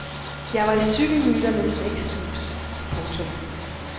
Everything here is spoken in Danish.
Jeg var i cykelmyternes væksthus. punktum